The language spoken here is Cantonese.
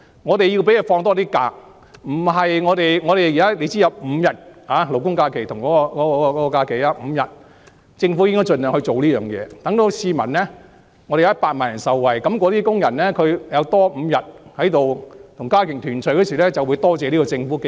我們要讓他們有多些假期，現在勞工假期和公眾假期相差5天，政府在這方面應該盡量作出改善，讓100萬人受惠，工人如多了5天家庭團聚時間，便會多謝政府。